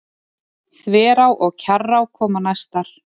Þverá og Kjarrá koma næstar.